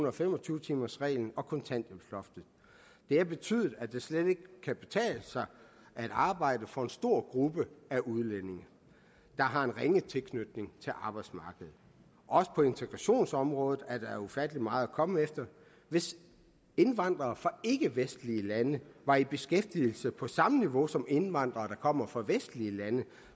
og fem og tyve timersreglen og kontanthjælpsloftet det har betydet at det slet ikke kan betale sig at arbejde for en stor gruppe udlændinge der har en ringe tilknytning til arbejdsmarkedet også på integrationsområdet er der ufattelig meget at komme efter hvis indvandrere fra ikkevestlige lande var i beskæftigelse på samme niveau som indvandrere der kommer fra vestlige lande